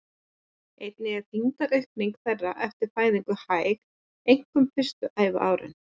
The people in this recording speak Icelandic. Einnig er þyngdaraukning þeirra eftir fæðingu hæg, einkum fyrstu æviárin.